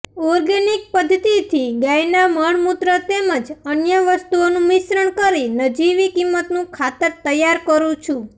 organic પદ્ધતિથી ગાયના મળમૂત્ર તેમજ અન્ય વસ્તુઓનું મિશ્રણ કરી નજીવી કિંમતનું ખાતર તૈયાર કરૂ છું